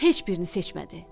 Heç birini seçmədi.